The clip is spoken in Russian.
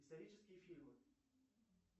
исторические фильмы